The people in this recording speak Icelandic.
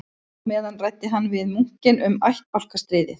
Á meðan ræddi hann við munkinn um ættbálkastríðið